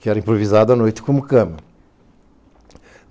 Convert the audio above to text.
que era improvisado à noite como cama.